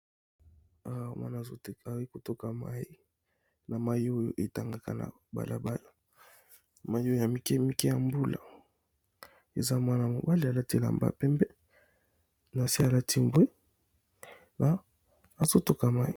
Awa mwana azo kotoka mai na mai oyo etangaka na balabala mai oyo ya mike mike ya mbula eza mwana mobali alati la mba pembe na se alati mbwe na azotoka mai.